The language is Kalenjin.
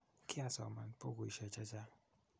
kiasoman bukuishe chechang